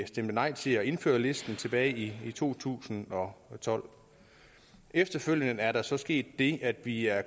stemte nej til at indføre listen tilbage i to tusind og tolv efterfølgende er der så sket det at vi er